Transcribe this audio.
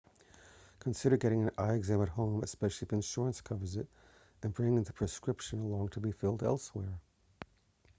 consider getting an eye exam at home especially if insurance covers it and bringing the prescription along to be filed elsewhere